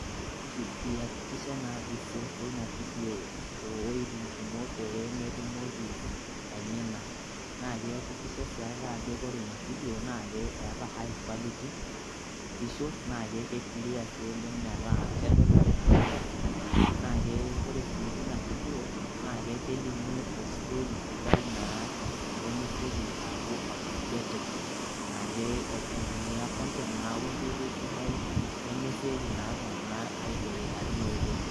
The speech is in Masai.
Iyakikisha naa ajo iseefo ina fidio toowuejitin kumok peemetumoki aimina. Naa kiyakikisha sii ake ajo ore ina fidio naa keeta high quality visuals naa ke clear sii oleng' metaa kedol iltung'anak esidai. Ore sii tina fidio naa kelimu ostori sidai naa lemesioki aaku outdated naake aitumia content naa wenkoitoi sidai nemesioki naa iltung'anak aiboeka teina oitoi.